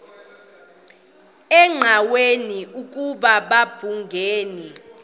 engqanweni ukuba babhungani